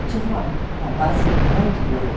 Eu tive uma, uma base muito boa.